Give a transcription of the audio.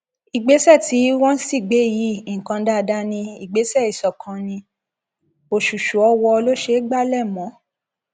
ìgbésẹ tí wọn sì gbé yìí nǹkan dáadáa ni ìgbésẹ ìṣọkan ní òṣùṣù ọwọ ló ṣe é gbalẹ mọ